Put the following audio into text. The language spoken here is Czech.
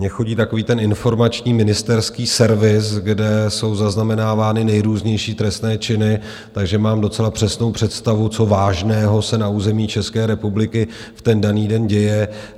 Mně chodí takový ten informační ministerský servis, kde jsou zaznamenávány nejrůznější trestné činy, takže mám docela přesnou představu, co vážného se na území České republiky v ten daný den děje.